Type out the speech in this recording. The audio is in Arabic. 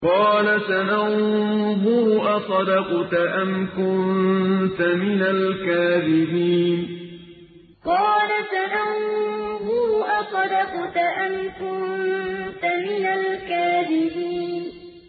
۞ قَالَ سَنَنظُرُ أَصَدَقْتَ أَمْ كُنتَ مِنَ الْكَاذِبِينَ ۞ قَالَ سَنَنظُرُ أَصَدَقْتَ أَمْ كُنتَ مِنَ الْكَاذِبِينَ